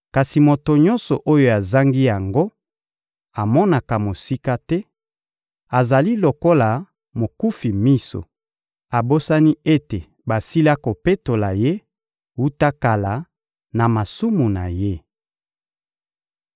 Kasi moto nyonso oyo azangi yango amonaka mosika te, azali lokola mokufi miso; abosani ete basila kopetola ye, wuta kala, na masumu na ye.